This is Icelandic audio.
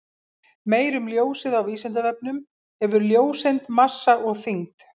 Meira um ljósið á Vísindavefnum: Hefur ljóseind massa og þyngd?